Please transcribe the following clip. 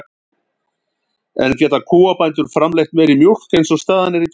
En geta kúabændur framleitt meiri mjólk eins og staðan er í dag?